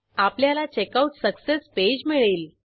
आपल्याला checkout success page मिळेल